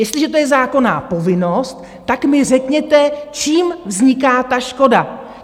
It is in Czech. Jestliže to je zákonná povinnost, tak mi řekněte, čím vzniká ta škoda?